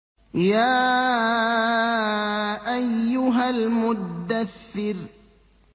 يَا أَيُّهَا الْمُدَّثِّرُ